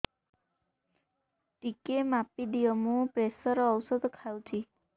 ଟିକେ ମାପିଦିଅ ମୁଁ ପ୍ରେସର ଔଷଧ ଖାଉଚି